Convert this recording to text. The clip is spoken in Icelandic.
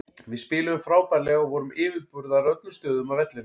Við spiluðum frábærlega og vorum yfirburðar á öllum stöðum á vellinum.